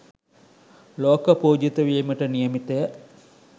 ලෝක පූජිත වීමට නියමිතය.